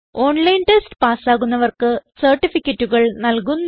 online test പാസ്സാകുന്നവർക്ക് സർട്ടിഫികറ്റുകൾ നല്കുന്നു